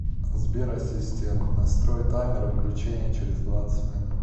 сбер ассистент настрой таймер выключения через двадцать минут